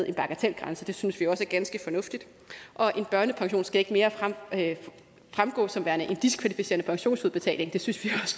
en bagatelgrænse det synes vi også er ganske fornuftigt og en børnepension skal ikke mere fremgå som værende en diskvalificerende pensionsudbetaling det synes vi